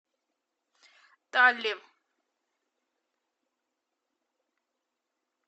талли